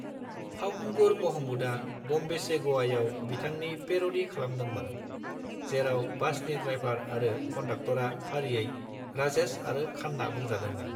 फावखुंगुर महमूदआ "बम्बे से गवा"याव बिथांनि पैर'डी खालामदोंमोन, जेराव बासनि ड्राइभार आरो कन्डाक्तरा फारियै 'राजेश' आरो 'खान्ना' बुंजादोंमोन।